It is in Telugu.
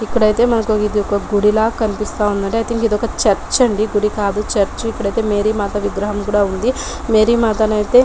ఇక్కడ ఐత మనకి ఇది ఒక గుడి లా కనిపిస్తుంది అండి ఐ థింక్ ఇది ఒక చర్చి అండి గుడి కాదు చర్చి మేరీ మాత విగ్రహం కూడా ఉంది మేరీమాత అయితే.